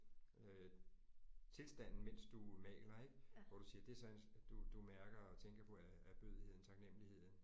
Øh tilstanden mens du maler ik hvor du siger det er sådan du du mærker og tænker på ær ærbødigheden taknemmeligheden